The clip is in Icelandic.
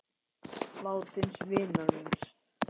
Látins vinar minnst.